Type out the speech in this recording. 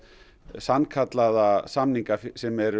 sannkallaða samninga sem eru